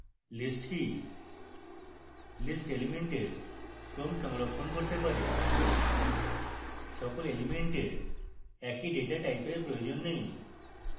list কি